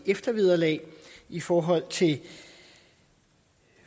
eftervederlag i forhold til